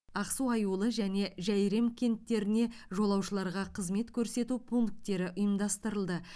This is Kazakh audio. ақсу аюлы және жәйрем кенттеріне жолаушыларға қызмет көрсету пункттері ұйымдастырылды